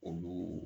Olu